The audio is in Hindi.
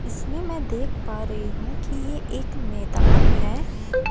इसमें मैं देख पा रही हूं कि ये एक मैदान है।